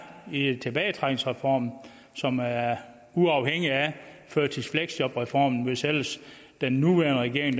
i tilbagetrækningsreformen og som er uafhængig af førtids og fleksjobreformen hvis ellers den nuværende regering